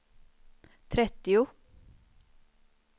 trettio